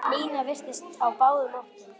Nína virtist á báðum áttum.